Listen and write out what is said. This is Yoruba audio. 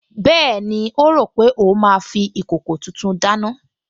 Bẹ́ẹ̀ni, ó rò pé òun máa fi ìkòkò tuntun dáná